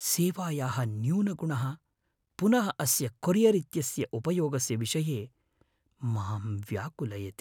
सेवायाः न्यूनगुणः पुनः अस्य कोरियर् इत्यस्य उपयोगस्य विषये मां व्याकुलयति।